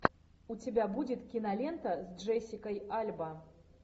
у тебя будет кинолента с джессикой альба